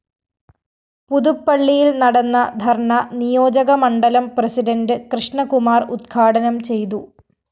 പുതുപ്പള്ളിയില്‍ നടന്ന ധര്‍ണ നിയോജകമണ്ഡലം പ്രസിഡന്റ് കൃഷ്ണകുമാര്‍ ഉദ്ഘാടനം ചെയ്തു